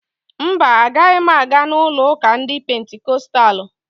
Mba, agaghị m aga n'ụlo ụka ndị Pentikostalụ